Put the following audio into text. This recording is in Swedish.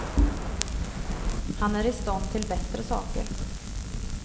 Han är i stånd till bättre saker.